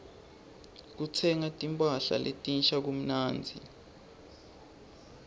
kutsenga timpahla letinsha kumnandzi